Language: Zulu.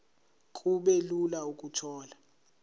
kube lula ukuthola